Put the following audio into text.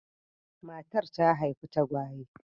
Matar ta haifi tagwaye.